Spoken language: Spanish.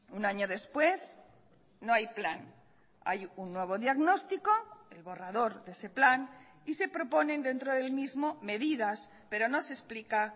un año después no hay plan hay un nuevo diagnóstico el borrador de ese plan y se proponen dentro del mismo medidas pero no se explica